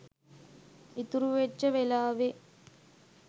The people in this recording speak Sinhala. ඉතුරැ වෙච්ච වෙලාවේ